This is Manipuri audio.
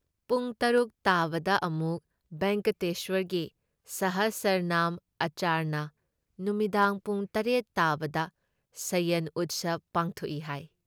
ꯄꯨꯡ ꯇꯔꯨꯛ ꯇꯥꯕꯗ ꯑꯃꯨꯛ ꯚꯦꯡꯒꯇꯦꯁ꯭ꯋꯔꯒꯤ ꯁꯍꯁꯔꯅꯥꯝ ꯑꯔꯆꯅꯥ, ꯅꯨꯃꯤꯗꯥꯡ ꯄꯨꯡ ꯇꯔꯦꯠ ꯇꯥꯕꯗ ꯁꯌꯟ ꯎꯠꯁꯕ ꯄꯥꯡꯊꯣꯛꯏ ꯍꯥꯏ ꯫